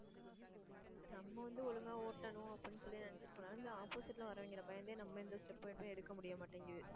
நம்ம வந்து ஒழுங்கா ஓட்டணும் அப்படின்னு சொல்லி, நினைச்சிட்டு போனா. இந்த opposite ல வர்றவங்க, பயந்தே நம்ம எந்த step வந்து எடுக்க முடிய மாட்டேங்குது.